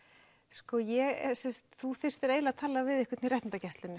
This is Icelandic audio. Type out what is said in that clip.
sko þú þyrftir eiginlega að tala við einhvern í réttindagæslunni ef